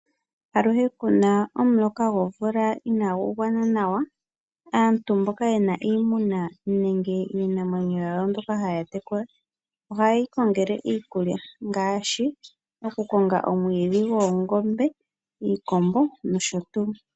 Shampa kuna omuloka gomvula inaagu gwana nawa. Aantu mba yena iimuna nenge iitekulwa namwenyo oha yeyi kongele iikulya ngaashi oku konga omwiidhi goongombe, iikombo nosho tuu.